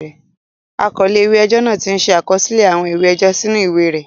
The clerk of the court had made the following entries in his log.